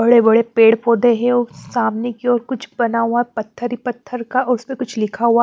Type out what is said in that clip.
बड़े-बड़े पेड़ पौधे हैं और सामने की ओर कुछ बना हुआ पत्थर ही पत्थर का उसमें कुछ लिखा हुआ है।